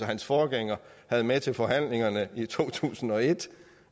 hans forgænger havde med til forhandlingerne i to tusind og et